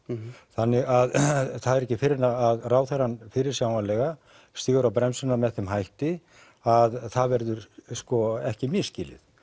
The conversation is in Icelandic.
þannig það er ekki fyrr en að ráðherrann fyrirsjáanlega stígur á bremsuna með þeim hætti að það verður ekki misskilið